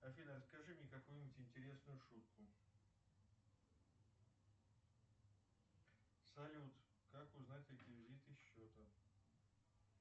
афина расскажи мне какую нибудь интересную шутку салют как узнать реквизиты счета